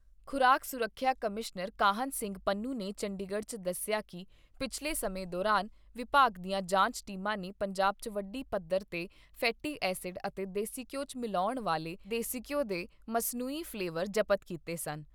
ਖ਼ੁਰਾਕ ਸੁਰੱਖਿਆ ਕਮਿਸ਼ਨਰ ਕਾਹਨ ਸਿੰਘ ਪੰਨੂ ਨੇ ਚੰਡੀਗੜ੍ਹ 'ਚ ਦੱਸਿਆ ਕਿ ਪਿਛਲੇ ਸਮੇਂ ਦੌਰਾਨ ਵਿਭਾਗ ਦੀਆਂ ਜਾਂਚ ਟੀਮਾਂ ਨੇ ਪੰਜਾਬ 'ਚ ਵੱਡੀ ਪੱਧਰ ਤੇ ਫੈਟੀ ਐਸਿਡ ਅਤੇ ਦੇਸੀ ਘਿਉ 'ਚ ਮਿਲਾਉਣ ਵਾਲੇ ਦੇਸੀ ਘਿਉ ਦੇ ਮਸਨੂਈ ਫਲੇਵਾਰ ਜ਼ਬਤ ਕੀਤੇ ਸਨ।